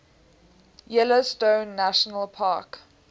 yellowstone national park